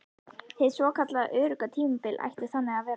Hið svokallað örugga tímabil ætti þannig að vera frá